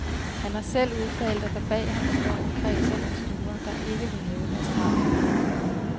Han har selv udtalt, at der bag ham står en kreds af investorer, der ikke vil have deres navne frem.